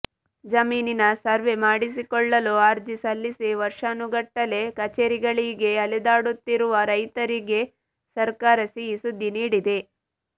ಜಮೀನಿನ ಸರ್ವೆ ಮಾಡಿಸಿಕೊಳ್ಳಲು ಅರ್ಜಿ ಸಲ್ಲಿಸಿ ವರ್ಷಾನುಗಟ್ಟಲೆ ಕಚೇರಿಗಳಿಗೆ ಅಲೆದಾಡುತ್ತಿರುವ ರೈತರಿಗೆ ಸರ್ಕಾರ ಸಿಹಿ ಸುದ್ದಿ ನೀಡಿದೆ